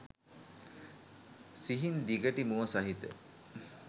සිහින් දිගටි මුව සහිත